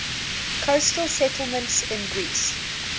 coastal settlements in greece